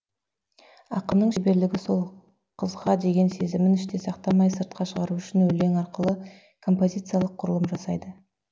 ақынның шеберлігі сол қызға деген сезімін іште сақтамай сыртқа шығару үшін өлең арқылы композициялық құрылым жасайды